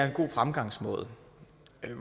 en god fremgangsmåde